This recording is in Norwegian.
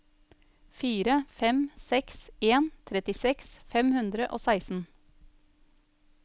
fire fem seks en trettiseks fem hundre og seksten